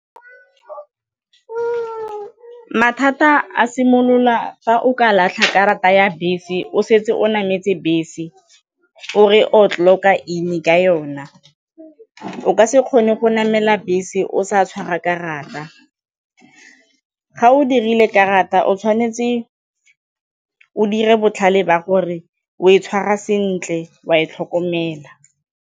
Mathata a simolola fa o ka latlha karata ya bese o setse o nameletse bese, o re o clock-a in-e ka yona, o ka se kgone go namela bese o sa tshwara karata ga o dirile karata o tshwanetse o dire botlhale ba gore o e tshwara sentle, o a e tlhokomela.